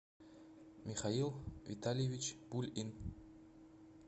михаил витальевич пульин